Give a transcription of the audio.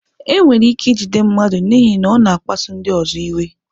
Enwere ike ijide mmadụ n'ihi na ọ na-akpasu ndị ọzọ iwe.